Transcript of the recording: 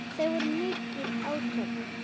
Það voru mikil átök.